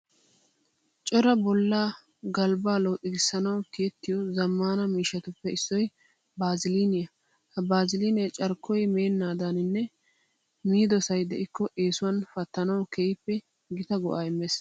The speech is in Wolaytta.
Cora bollaa galbbaa looxigissanawu tiyettiyo zammaana miishshatuppe issoy baaziliiniya. Ha baaziliinee carkkoy meennaadaaninne miidosay de'ikko eesuwan pattanawu keehippe gita go"aa immees.